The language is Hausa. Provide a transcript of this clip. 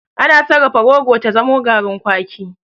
Ana sarrafa rogo ta zamo garin kwaki.